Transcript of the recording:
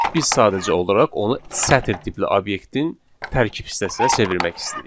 Biz sadəcə olaraq onu sətr tipli obyektin tərkib hissəsinə çevirmək istəyirik.